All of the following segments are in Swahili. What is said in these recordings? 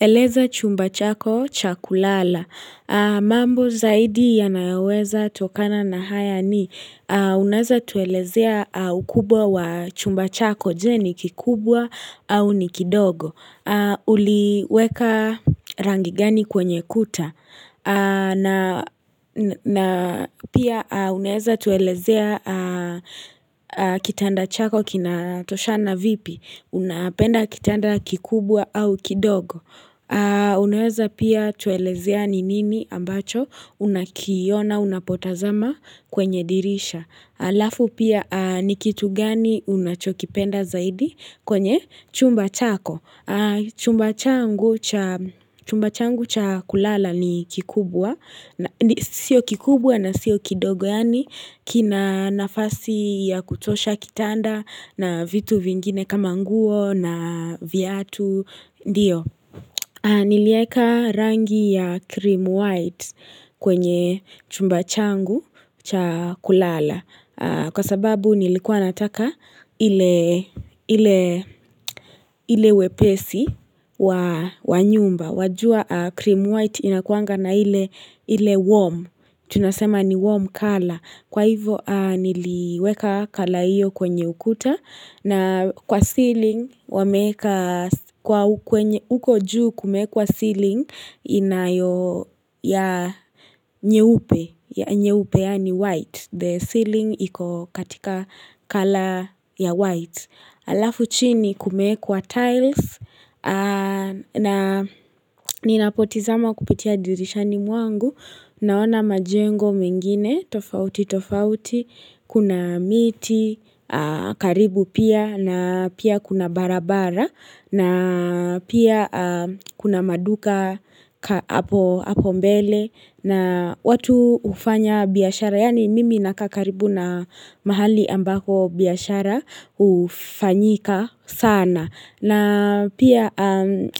Eleza chumba chako, chakulala. Mambo zaidi yanayoweza tokana na haya ni. Unaweza tuelezea ukubwa wa chumba chako. Je ni kikubwa au ni kidogo. Uliweka rangigani kwenye kuta. Na pia unaweza tuelezea kitanda chako kina toshana vipi. Unapenda kitanda kikubwa au kidogo. Unaweza pia tuelezea ni nini ambacho unakiona unapotazama kwenye dirisha halafu pia ni kitu gani unachokipenda zaidi kwenye chumba chako chumba changu Chumba changu cha kulala ni kikubwa Sio kikubwa na sio kidogo yani kina nafasi ya kutosha kitanda na vitu vingine kama nguo na viatu ndio. Nilieka rangi ya cream white kwenye chumba changu cha kulala. Kwa sababu nilikuwa nataka ile ile wepesi wa nyumba. Wajua cream white inakuanga na ile warm. Tunasema ni warm color. Kwa hivo niliweka colour hiyo kwenye ukuta na kwa ceiling wameeka kwa uko juu kumewekwa ceiling inayo ya nyeupe ya nyeupe yani white. The ceiling iko katika colour ya white. Alafu chini kumewekwa tiles na ninapotazama kupitia dirishani mwangu naona majengo mengine tofauti tofauti kuna miti karibu pia na pia kuna barabara na pia kuna maduka hapo mbele na watu ufanya biashara. Yani mimi nakaa karibu na mahali ambako biashara hufanyika sana na pia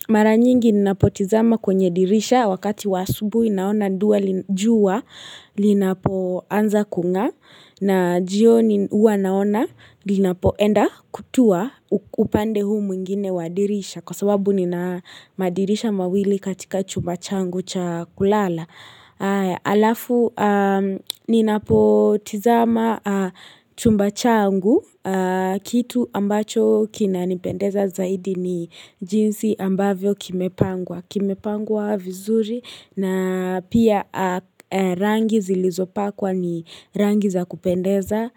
mara nyingi ninapotazama kwenye dirisha Wakati wa asubuhi naona dua jua linapoanza kung'aa na jioni huwa naona linapoenda kutua upande huu mwingine wadirisha Kwa sababu ninamadirisha mawili katika chumba changu cha kulala Alafu, ninapotazama chumba changu, kitu ambacho kinanipendeza zaidi ni jinsi ambavyo kimepangwa, kimepangwa vizuri na pia rangi zilizopakwa ni rangi za kupendeza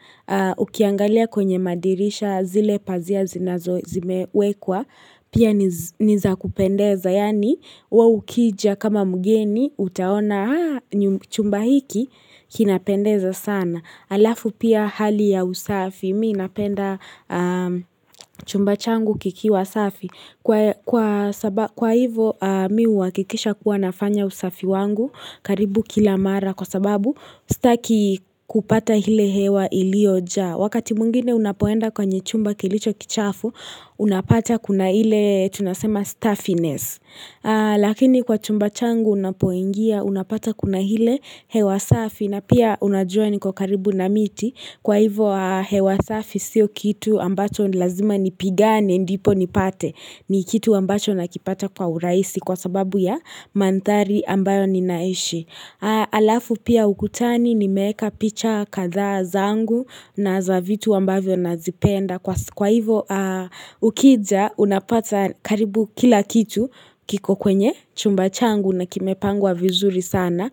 ukiangalia kwenye madirisha zile pazia zinazo zimewekwa pia nizakupendeza yani we ukija kama mgeni utaona chumba hiki kinapendeza sana alafu pia hali ya usafi mimi napenda chumba changu kikiwa safi kwa sababu kwa hivo mimi huhakikisha kuwa nafanya usafi wangu karibu kila mara kwa sababu Sitaki kupata ile hewa iliyo jaa Wakati mwingine unapoenda kwenye chumba kilicho kichafu Unapata kuna ile tunasema stuffiness Lakini kwa chumba changu unapoingia unapata kuna ile hewa safi na pia unajua niko karibu na miti Kwa hivo hewa safi sio kitu ambacho lazima nipigane ndipo nipate ni kitu ambacho nakipata kwa urahisi kwa sababu ya manthari ambayo ninaishi Alafu pia ukutani nimeeka picha kadhaa zangu na za vitu ambavyo nazipenda Kwa hivo ukija unapata karibu kila kitu kiko kwenye chumba changu na kimepangwa vizuri sana.